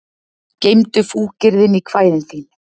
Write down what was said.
Geymdu fúkyrðin í kvæðin þín